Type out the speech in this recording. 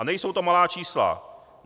A nejsou to malá čísla.